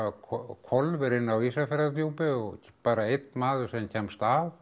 hvolfir inni á Ísafjarðardjúpi og bara einn maður sem kemst af